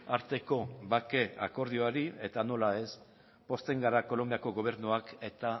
arteko bake akordioari eta nola ez pozten gara kolonbiako gobernuak eta